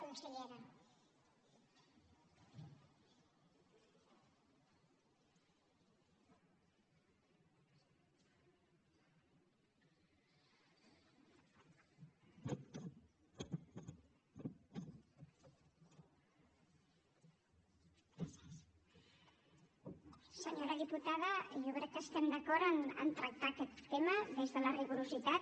senyora diputada jo crec que estem d’acord a tractar aquest tema des de la rigorositat